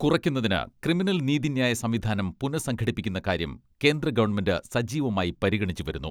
കുറയ്ക്കുന്നതിന് ക്രിമിനൽ നീതിന്യായ സംവിധാനം പുനഃ സംഘടിപ്പിക്കുന്ന കാര്യം കേന്ദ്ര ഗവൺമെന്റ് സജീവമായി പരിഗണിച്ചുവരുന്നു.